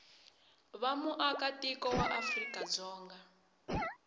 va muaka tiko wa afrikadzonga